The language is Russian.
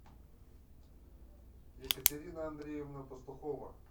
екатерина андреевна пастухова